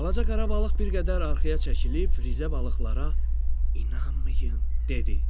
Balaca qara balıq bir qədər arxaya çəkilib rizə balıqlara “İnanmayın!” dedi.